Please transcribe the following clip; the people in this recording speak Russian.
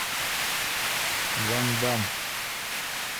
ван дамм